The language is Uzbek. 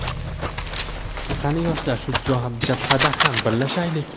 Qani yoshlar shu jabhada ham birlashaylik!.